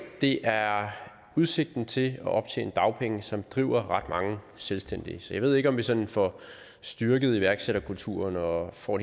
det er udsigten til at optjene dagpenge som driver ret mange selvstændige så jeg ved ikke om vi sådan får styrket iværksætterkulturen og får